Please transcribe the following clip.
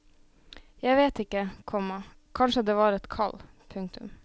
Jeg vet ikke, komma kanskje det er et kall. punktum